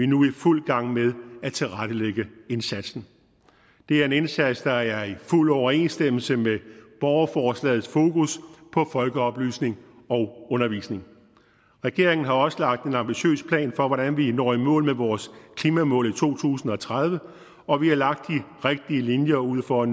nu i fuld gang med at tilrettelægge indsatsen det er en indsats der er i fuld overensstemmelse med borgerforslagets fokus på folkeoplysning og undervisning regeringen har også lagt en ambitiøs plan for hvordan vi når i mål med vores klimamål i to tusind og tredive og vi har lagt de rigtige linjer ud for at